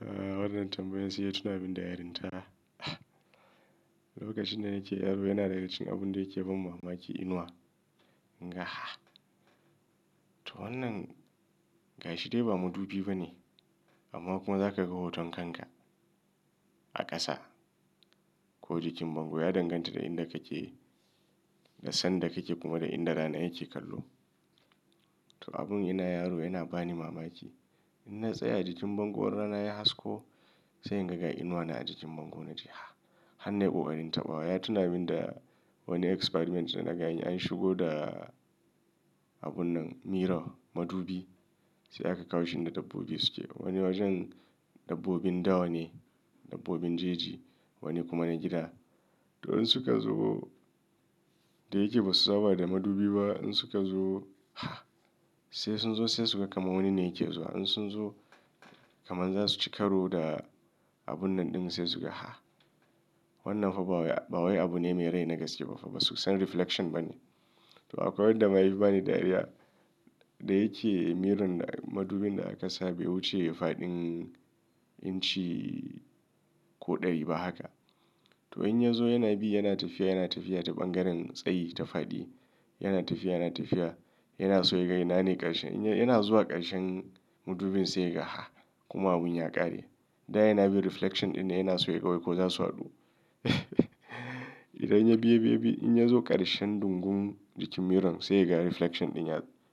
Wannan tambayan sai ya tuna min da yarinta. Lokacin da nake yaro yana daga cikin abun da yake ban mamaki inuwa. Wannan gashi dai ba madubi bane amma kuma za ka ga hoton kanka a ƙasa ko jikin bango ya danganta da inda kake da san da kake kuma da inda rana yake kallo. To abun ina yaro yana bani mamaki. In na tsaya jikin bango in rana ya hasko sai in ga ga inuwa na a jikin bango na ce, "har nayi ƙoƙarin taɓawa." Ya tuna min da wani experiment da na ga anyi an shigo da abun nan mirror madubi sai aka kawo shi inda dabbobi suke. Wani wajen dabbobin dawa ne, dabbobin jeji wani kuma na gida. To in suka zo da yake ba su saba da madubi ba in suka zo sai sun zo sai suka kama wani ne yake zuwa. In sun zo kaman za su ci karo da abun nan ɗin sai suga. Wannan fa ba waye abu ne mai rai na gaske ba fa ba su san reflection bane. To akwai wanda ma yafi bani dariya da yake mirror madubin da akasa be wuce faɗin inci ko ɗari ba haka. To in ya zo yana bi yana tafiya yana tafiya ta bangaren tsayi ta faɗi yana tafiya yana tafiya yana so ya ga ina ne ƙarshe. Yana zuwa ƙarshen madubin sai ya ga kuma abun ya ƙare. Da yana bin reflection ɗin ne yana so ya ga wai ko za su haɗu. Idan yabi yabi yabi in ya zo ƙarshen dungum jikin mirror sai ga reflection ɗin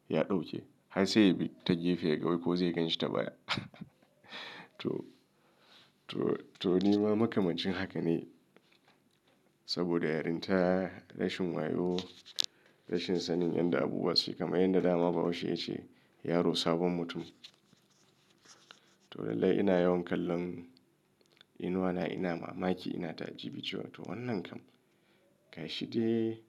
ya ɗauke har sai ya bi ta gefe ya ga wai ko zai gan shi ta baya. To, to nima makamancin haka ne. Saboda yarinta rashin wayo, rashin sanin yadda abubuwa suke kamar yadda dama bahaushe ya ce, "Yaro sabon mutum." To lallai ina yawan kallon inuwana ina mamaki ina ta'ajibi cewa to wannan kam gashi de?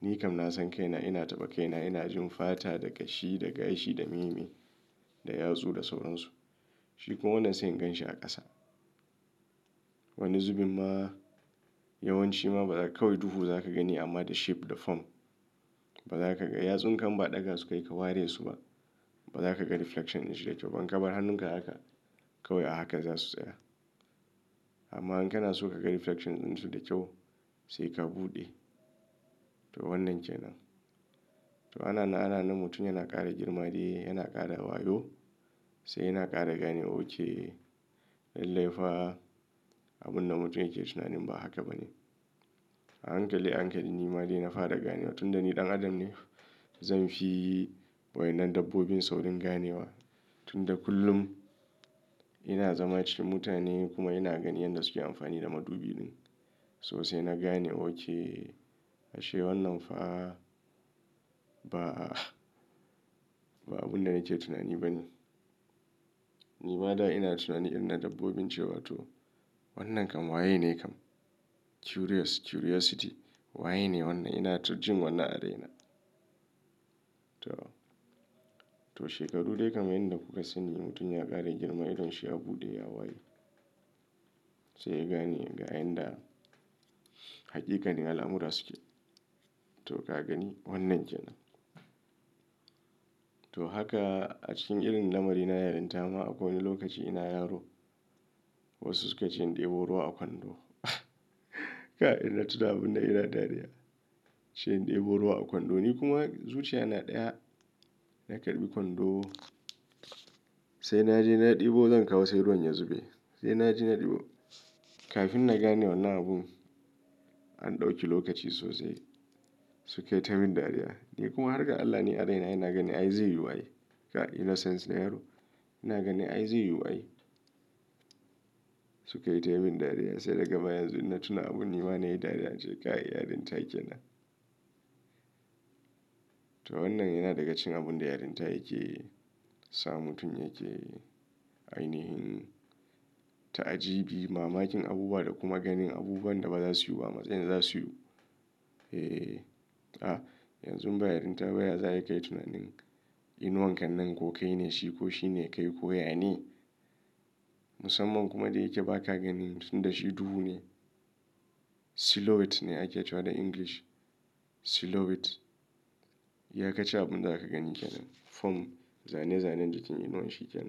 Ni kam na san kaina ina taɓa kaina ina jin fata da kashi da gashi da meme da yatsu da sauransu. Shi kuma wannan sai in gan shi a ƙasa. Wani zubimma yawanci ma ba za ka wai duhu za ka gani amma da shape da form. Ba za ka ga yatsun ka inba ɗaga su kayi ka ware su ba. Ba za ka ga reflection din su da kyau ba in ka bar hannunka a haka kawai a haka za su tsaya. Amma in kana so ka ga reflection ɗin su da kyau sai ka buɗe. To wannan kenan. To ana na ana na mutum yana ƙara girma dai yana ƙara wayo sai yana ƙara ganewa ok. Lallai fa abun da mutum yake tunanin ba haka bane. A hankali a hankali nima dai na fara ganewa tunda ni ɗan adam ne zan fi wadannan dabbobin saurin ganewa. Tunda kullum ina zama cikin mutane kuma ina ganin yanda suke amfani da madubi ɗin so sai na gane ok ashe wannan fa ba, ba abun da nake tunani bane. Nima da ina tunanin irin na dabbobin cewa to wannan kam waye ne kam? Curious curiosity waye ne wannan? Ina to jin wannan a raina. To, to shekaru dai kam yanda kuka sani mutum ya ƙara girma idan shi ya buɗe ya waye. Sai ya gane ga yanda haƙiƙanin al'amura suke. To ka gani wannan kenan. To haka a cikin irin lamari na yarinta ma akwai wani lokaci ina yaro wasu suka ce in ɗebo ruwa a kwando. Kai in na tuna abun nan ina dariya. Ce in ɗebo ruwa a kwando ni kuma zuciya na ɗaya na karɓi kwando sai na je na ɗebo zan kawo sai ruwan ya zube. Sai na je na ɗebo kafin na gane wannan abun an ɗauki lokaci sosai suke ta min dariya. Ni kuma har ga Allah ni a raina ina ganin ai zai yiwu ai. Ga innocence na yaro ina ganin ai zai yiwu ai sukayi ta yi min dariya sai daga baya yanzu in na tuna abun nima na yi dariya in ce kai yarinta kenan. To wannan yana daga cikin abun da yarinta yake sa mutum yake ainihin ta'ajibi mamakin abubuwa da kuma ganin abubuwan da ba za su yiwu ba matsayin za su yiwu. Yanzu ba yarinta ba ya za ayi kayi tunanin inuwan kan nan ko kai ne shi ko shine kai ko ya ne. Musamman kuma da yake ba ka gani tunda shi duhu ne. Silhouette ne ake cewa da English. Silhouette. iYa kacin abun da zaka gani kenan form zane zanen jikin inuwan shi yake.